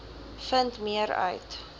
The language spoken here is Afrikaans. vind meer uit